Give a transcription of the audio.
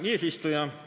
Hea eesistuja!